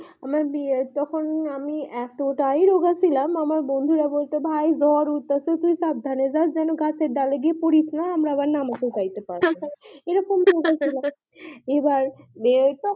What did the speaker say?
আমার বিয়ে তখন আমি এতটাই রোগা ছিলাম আমার বন্ধু রা বলতো ভাই ঝড় উটতাছে তুই সাবধানে যাস যেন গাছের ডালে পড়িস না আমার আবার নামাতে যাইতে পারবো না এইরকম হা হা এবার